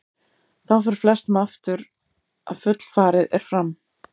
Þá fer flestum aftur að fullfarið er fram.